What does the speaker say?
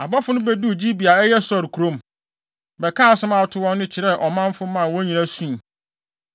Abɔfo no beduu Gibea a ɛyɛ Saulo kurom, bɛkaa asɛm a ato wɔn no kyerɛɛ ɔmanfo maa wɔn nyinaa sui.